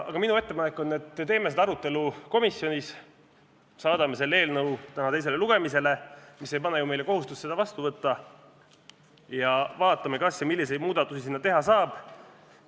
Aga minu ettepanek on, et teeme seda arutelu komisjonis, saadame selle eelnõu täna teisele lugemisele, mis ei pane ju meile kohustust seda vastu võtta, ja vaatame, kas ja milliseid muudatusi sinna teha saab.